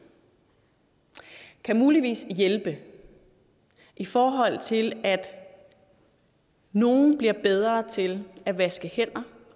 kan muligvis hjælpe i forhold til at nogle bliver bedre til at vaske hænder